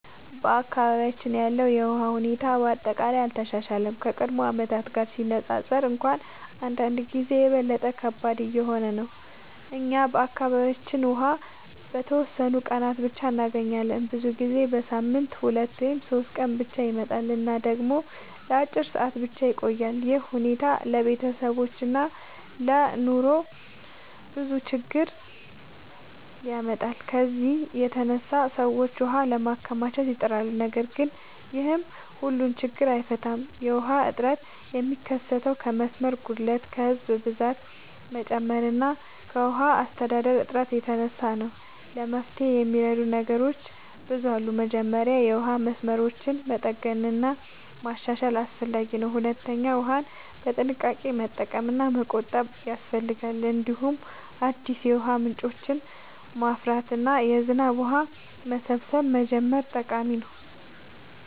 በአካባቢያችን ያለው የውሃ ሁኔታ በአጠቃላይ አልተሻሻለም፤ ከቀድሞ ዓመታት ጋር ሲነፃፀር እንኳን አንዳንድ ጊዜ የበለጠ ከባድ እየሆነ ነው። እኛ በአካባቢያችን ውሃ በተወሰኑ ቀናት ብቻ እንገኛለን፤ ብዙ ጊዜ በሳምንት 2 ወይም 3 ቀን ብቻ ይመጣል እና ደግሞ ለአጭር ሰዓታት ብቻ ይቆያል። ይህ ሁኔታ ለቤተሰቦች እና ለዕለታዊ ኑሮ ብዙ ችግኝ ያመጣል። ከዚህ የተነሳ ሰዎች ውሃ ለማከማቸት ይጥራሉ፣ ነገር ግን ይህም ሁሉን ችግኝ አይፈታም። የውሃ እጥረት የሚከሰተው ከመስመር ጉድለት፣ ከህዝብ ብዛት መጨመር እና ከውሃ አስተዳደር እጥረት የተነሳ ነው። ለመፍትሄ የሚረዱ ነገሮች ብዙ አሉ። መጀመሪያ የውሃ መስመሮችን መጠገን እና ማሻሻል አስፈላጊ ነው። ሁለተኛ ውሃን በጥንቃቄ መጠቀም እና መቆጠብ ያስፈልጋል። እንዲሁም አዲስ የውሃ ምንጮችን ማፍራት እና የዝናብ ውሃ መሰብሰብ መጀመር ጠቃሚ ነው።